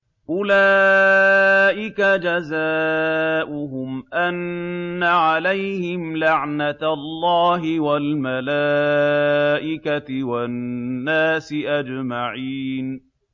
أُولَٰئِكَ جَزَاؤُهُمْ أَنَّ عَلَيْهِمْ لَعْنَةَ اللَّهِ وَالْمَلَائِكَةِ وَالنَّاسِ أَجْمَعِينَ